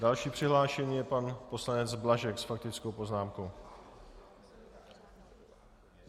Další přihlášený je pan poslanec Blažek s faktickou poznámkou.